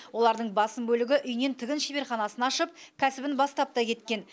олардың басым бөлігі үйінен тігін шеберханасын ашып кәсібін бастап та кеткен